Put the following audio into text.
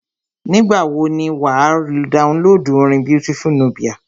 Nígbà wọ ni wà á downloadu orin Beautiful Nubia.